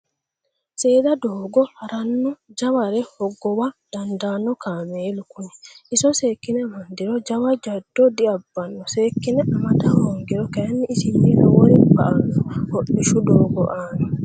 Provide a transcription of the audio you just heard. Seeda doogo harano jaware hogowa dandaano kaameelu kuni iso seekkine amandiro jawa jado diabbano seekkine amada hoongiro kayinni isinni lowori ba"ano hodhishu doogo aana